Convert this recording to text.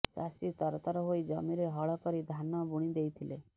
ଚାଷୀ ତରତର ହୋଇ ଜମିରେ ହଳକରି ଧାନ ବୁଣି ଦେଇଥିଲେ